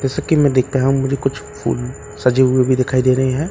जैसे कि मैं देख पाया हूं मुझे कुछ फूल सजे हुए भी दिखाई दे रहे हैं।